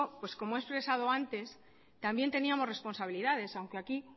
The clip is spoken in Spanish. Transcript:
pues como he expresado antes también teníamos responsabilidades aunque aquí